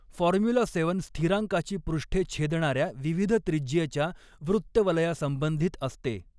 Formula seven स्थिरांकाची पॄष्ठे छेदणाऱ्या विविध त्रिज्येच्या वृत्तवलयासंबंधीत असते.